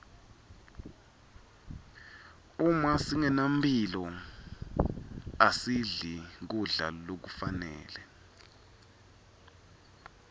uma singenamphilo asidli kudla lokufanele